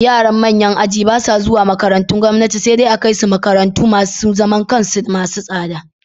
Yaran manyan aji ba sa zuwa makarantun gwamnati, sai dai a kai su makarantu masu zaman kansu masu tsada.